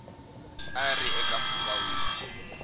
a ri eka mpfhuka wihi